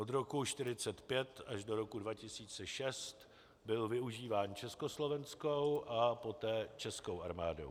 Od roku 1945 až do roku 2006 byl využíván československou a poté českou armádou.